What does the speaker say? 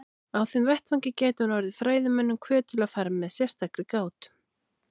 Á þeim vettvangi gæti hún orðið fræðimönnum hvöt til að fara fram með sérstakri gát.